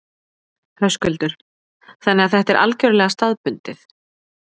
Höskuldur: Þannig að þetta er algjörlega staðbundið?